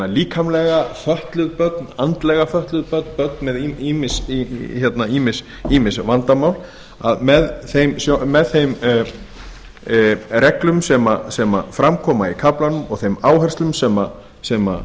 líkamlega fötluð börn andlega fötluð bann börn með ýmis vandamál að með þeim reglum sem fram koma í kaflanum og þeim áherslum sem